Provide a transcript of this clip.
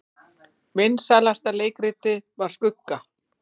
Vinsælasta leikritið var Skugga